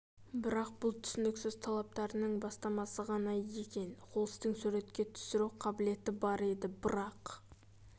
бірақ бұл түсініксіз талаптарының бастамасы ғана екен хулстың суретке түсіру қабілеті бар еді бірақ